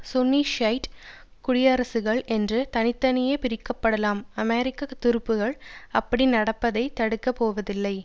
சுன்னி Shiite குடியரசுகள் என்று தனி தனியே பிரிக்கப்படலாம் அமெரிக்க துருப்புக்கள் அப்படி நடப்பதைத் தடுக்க போவதில்லை